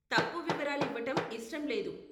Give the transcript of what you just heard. తప్పు వివరాలు ఇవ్వటం ఇష్టంలేదు.